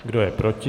Kdo je proti?